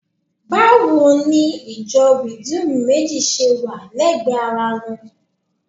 Báwo ni ìjọ Rìdíìmù méjì ṣe wà lẹ́gbẹ̀ẹ́ ara wọn?